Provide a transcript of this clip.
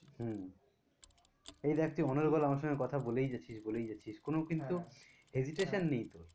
হম এই দেখ তুই অনর্গল আমার সঙ্গে কথা বলেই যাচ্ছিস যাচ্ছিস, কোনো কিন্তু hesitation নেই তোর